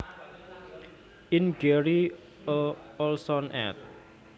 In Gary A Olson Ed